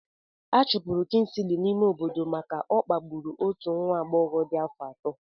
Achụpụrụ Kingley n'ime obodo maka na ọ kpagburu otu nwa agbọghọ dị afọ ato.